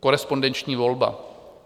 Korespondenční volba.